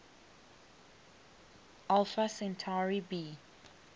alpha centauri b